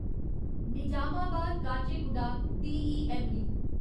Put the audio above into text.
Nizamabad Kacheguda DEMU